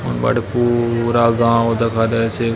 बड़पूरा गांव दखा देयसे।